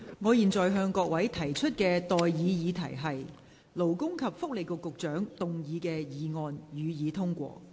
我現在向各位提出的待議議題是：勞工及福利局局長動議的議案，予以通過。